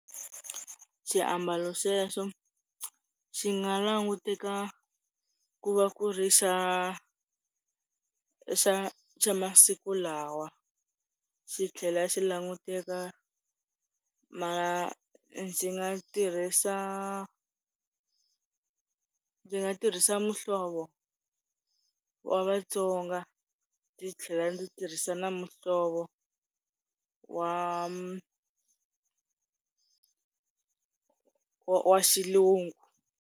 Swiambalo sweswo xi nga languteka ku va ku ri xa xa xa masiku lawa xi tlhela xi languteka, ma ndzi nga tirhisa, ndzi nga tirhisa muhlovo wa Vatsonga ndzi tlhela ndzi tirhisa na muhlovo wa wa xilungu.